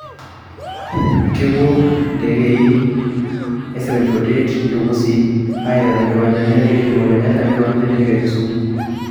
Kepuo intekei e 748 intukusi are iteru te nkiwanja o ntekei e Jomo Kenya o enkiwamja o ntekei e Kisumu